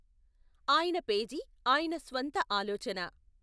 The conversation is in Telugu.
ఆయన పేజీ ఆయన స్వంత ఆలోచన.